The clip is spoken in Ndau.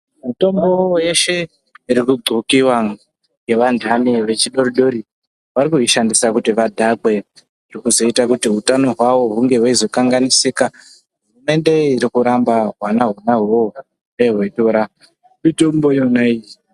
Mitombo yeshe iri kudhlokiwa ngeandani echidori-dori varikuishandisa kuti vadhakwe. Zveizoita kuti hutano hwavo hunge hweizokanganisika, hurumende irikuramba hwanaihohoho hune hweitora mitombo iyona iyi.